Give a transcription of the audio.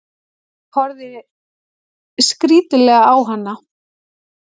Horfði skrítilega á hana.